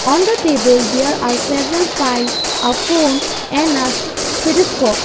on the table there are several file a phone and a stethoscope.